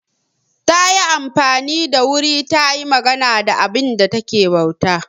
Ta yi amfani da wuri ta yi magana da abinda ta ke bauta.